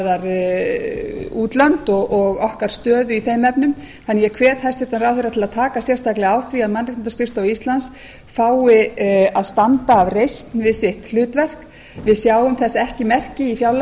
hvað varðar útlönd og okkar stöðu í þeim efnum þannig að ég hvet hæstvirtan ráðherra til að taka sérstaklega á því að mannréttindaskrifstofa íslands fái að standa af reisn við sitt hlutverk við sjáum þess ekki merki í fjárlagafrumvarpinu